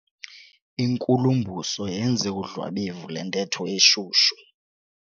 Inkulumbuso yenze udlwabevu lwentetho eshushu.